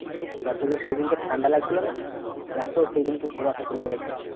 ওটা তোকে সেদিনকে ঠান্ডা লাগছিল না এত সেদিনকে কুয়াশা ছিল বলতো